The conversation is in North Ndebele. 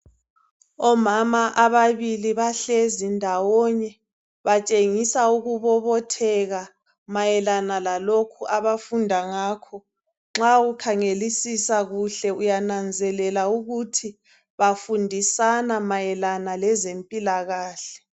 Omama ababili bahlezi ndawonye batshengisa ukubobotheka mayelana lalokhu abafunda ngakho nxa ukhangelisisa kuhle uyananzelela ukuthi bafundisana mayelana lezempilakahle.